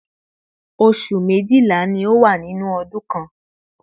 oṣù méjìlá ni ó wà nínú ọdún kan